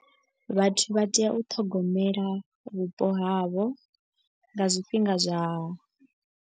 Vhathu vha tea u ṱhogomela vhupo havho nga zwifhinga zwa.